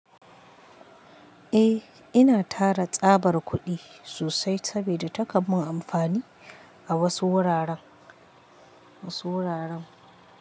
Eh, ina tara tsabar kuɗi sosai saboda takan mun amfani a wasu wuraren, wasu wuraren.